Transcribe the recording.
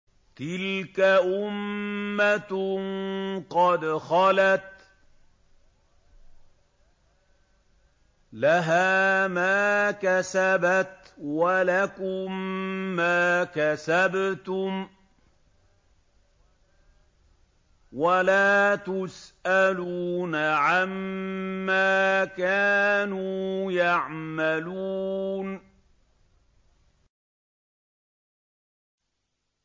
تِلْكَ أُمَّةٌ قَدْ خَلَتْ ۖ لَهَا مَا كَسَبَتْ وَلَكُم مَّا كَسَبْتُمْ ۖ وَلَا تُسْأَلُونَ عَمَّا كَانُوا يَعْمَلُونَ